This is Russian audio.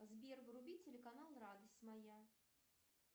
сбер вруби телеканал радость моя